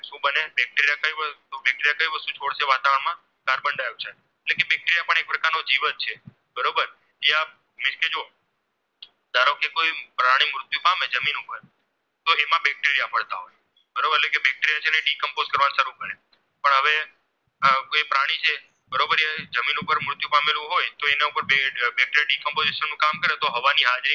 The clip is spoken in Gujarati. જમીન ઉપર મૃત્યુ પામેલું હોય તો એના ઉપર કરે તો હવા ની હાજરીમાં